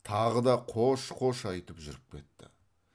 тағы да қош қош айтып жүріп кетті